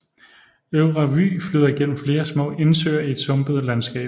Øvre Vyg flyder gennem flere små indsøer i et sumpet landskab